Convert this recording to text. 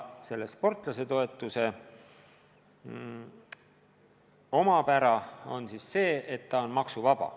Sportlasetoetuse omapära on, et see on maksuvaba.